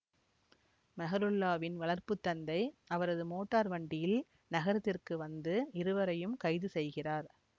மெஹ்ருல்லாவின் வளர்ப்பு தந்தை அவரது மோட்டார் வண்டியில் நகரத்திற்கு வந்து இருவரையும் கைது செய்கிறார்